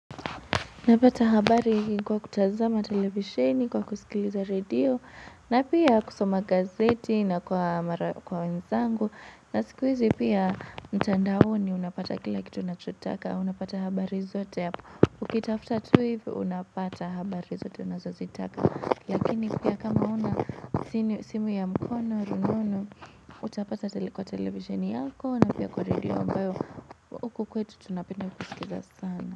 Napata habari kwa kutazama televisheni kwa kusikiliza redio na pia kusoma gazeti na kwa mara kwa wenzangu na sikuhizi pia mtandaoni unapata kila kitu unachotaka unapata habari zote hapo ukitafuta tu hivi unapata habari zote unazozitaka lakini pia kama una simu ya mkononi utapata kwa televisheni yako na pia kwa redio ambayo huku kwetu tunapenda kusikiliza sana.